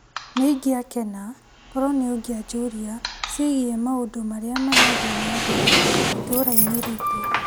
Nĩ ingĩakena korwo nĩ ungĩanjũria ciĩgiĩ maũndũ marĩa marathiĩ na mbere itũra-inĩ ritũ.